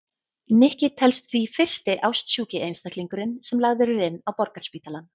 Nikki telst því fyrsti ástsjúki einstaklingurinn sem lagður er inn á Borgarspítalann.